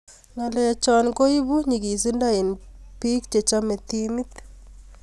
Ng'alechok koburu nyikizindo eng bek chechamei timit.